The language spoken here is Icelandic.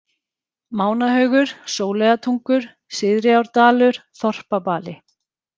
Mánahaugur, Sóleyjartungur, Syðriárdalur, Þorpabali